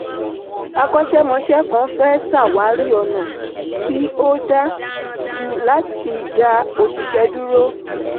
akọ́ṣẹ́mọsẹ́ kan fẹ́ sàwárí onà tí o dá jù láti dá òṣìṣẹ́ dúró.